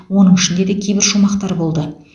оның ішінде де кейбір шумақтар болды